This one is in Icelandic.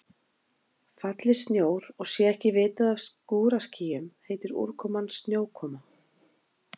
Falli snjór og sé ekki vitað af skúraskýjum heitir úrkoman snjókoma.